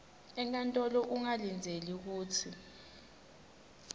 enkantolo ungalindzela kutsi